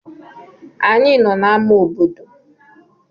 Anyị nọ n'ámá obodo.